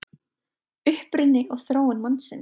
Uppruni og þróun mannsins